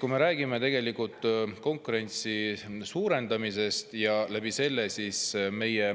Kui me räägime konkurentsi suurendamisest ning meie